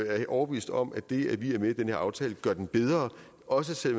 er overbevist om at det at vi er med i den her aftale gør den bedre også selv